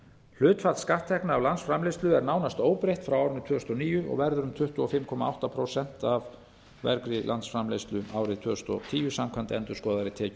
hlutfall skatttekna af landsframleiðslu er nánast óbreytt frá árinu tvö þúsund og níu og verður um tuttugu og fimm komma átta prósent af vergri landsframleiðslu árið tvö þúsund og tíu samkvæmt endurskoðaðri